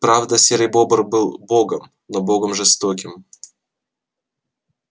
правда серый бобр был богом но богом жестоким